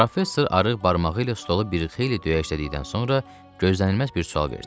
Professor barmağı ilə stolu bir xeyli döyəçlədikdən sonra gözlənilməz bir sual verdi.